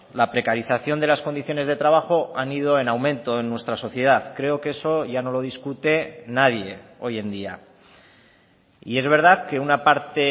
la precarización de las condiciones de trabajo han ido en aumento en nuestra sociedad creo que eso ya no lo discute nadie hoy en día y es verdad que una parte